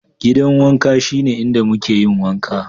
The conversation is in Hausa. Gidan wanka shine inda muke yin wanka.